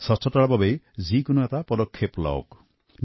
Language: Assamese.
স্বচ্ছতাৰ বাবে কিবা নহয় কিবা পদক্ষেপ অৱশ্যে লওঁক